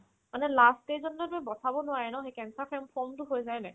মানে last stage ত ন তোৰ বচাব নোৱাৰে ন সেই কেঞ্চাৰ ফেম ~ form ত হৈ যায় মানে